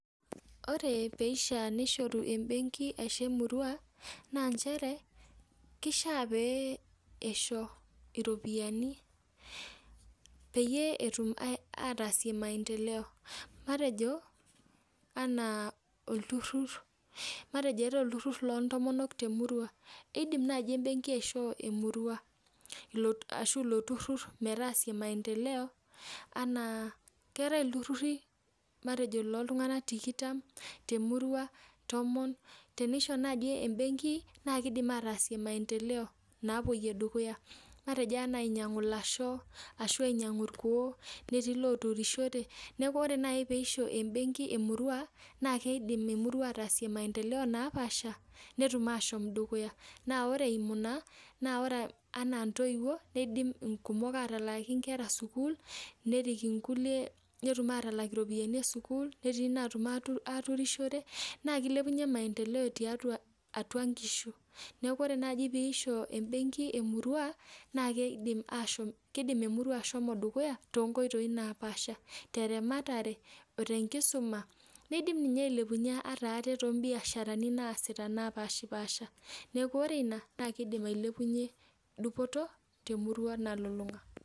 Ore peishaa nishoru ebenki aisho emurua, naa njere, kishaa pee eisho iropiyiani peyie etum ataasie maendeleo. Matejo anaa olturrur, matejo eetae olturrur lontomonok temurua. Idim nai ebenki aishoo emurua ashu ilo turrurr metaasie maendeleo, enaa keetae ilturrurri matejo loltung'anak tikitam temurua, tomon nisho naji ebenki na kidim ataasie maendeleo napoyie dukuya. Matejo ainyang'u lasho, ashu ainyang'u irkuo, letii loturishore, neeku ore nai pisho ebenki emurua, na kidim emurua ataasie maendeleo napaasha, netum ashom dukuya. Na ore eimu ina, na ore anaa ntoiwuo, nidim inkumok atalaaki nkera sukuul, nerik inkulie netum atalak iropiyiani esukuul, netii natum aturishore, naa kilepunye maendeleo tiatua atua nkishu. Neeku ore naji pisho benki emurua, na kidim ashom kidim emurua ashomo dukuya, tonkoitoi napaasha. Teramatare, otenkisuma, nidim ninye ailepunye ata aate tobiasharani naasita napashipasha. Neeku ore ina, na kidim ailepunye dupoto, temurua nalulung'a.